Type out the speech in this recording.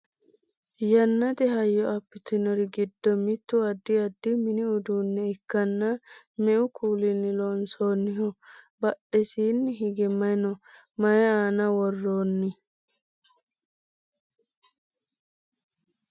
yannate hayyo abbitinori giddo mittu addi addi mini uduunne ikkanna me"u kuulinni loonsoonniho? badhessiini hige maye no? maye aana worroonni?